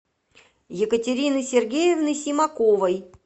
екатерины сергеевны симаковой